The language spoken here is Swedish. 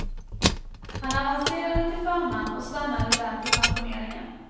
Han avancerade till förman och stannade där till pensioneringen.